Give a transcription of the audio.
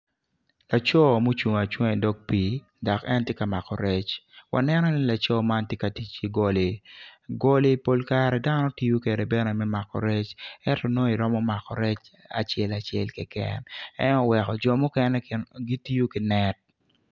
Laco ma ocung acunga i dog pii dok en tye ka mako rec waneno ni laco man tye ka tic ki goli goli pol kare dano tiyo kwede me mako rec ento nongo iromo mako rec acel acel keken en aye oweko jo mukene gitiyo ki net.